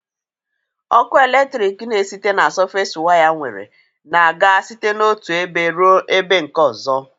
Ọkụ eletrik na esite na sọfes waya nwere na-aga site n'otụ ebe rụọ ebe nke ọzọ